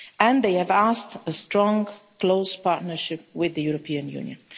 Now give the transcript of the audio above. And they have asked for a strong and close partnership with the European Union.